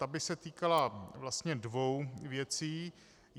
Ta by se týkala vlastně dvou věcí.